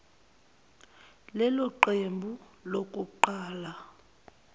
lelo qembu lokuqala